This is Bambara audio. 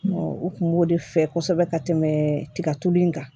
u kun b'o de fɛ kosɛbɛ ka tɛmɛ tigatulu in kan